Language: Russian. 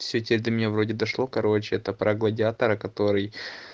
всё теперь до меня вроде дошло короче это про гладиатора который